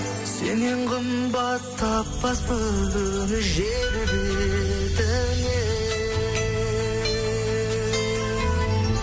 сеннен қымбат таппаспын жер бетінен